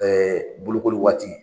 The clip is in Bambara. bolokoli waati.